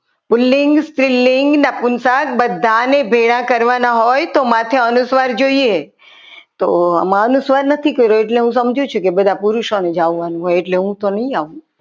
પુલ્લિંગ સ્ત્રીલિંગ નપુન શંખ બધાને ભેગા કરવાના હોય તો માથે અનુસ્વાર જોઈએ તો આમાં અનુસ્વાર નથી કર્યો એટલે હું સમજુ છું કે બધા પુરુષોને જવાનું હોય એટલે હું તો નહીં આવું